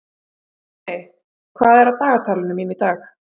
Nonni, hvað er á dagatalinu mínu í dag?